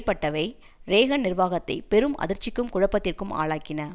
பட்டவை Reagan நிர்வாகத்தை பெரும் அதிர்ச்சிக்கும் குழப்பத்திற்கும் ஆளாக்கின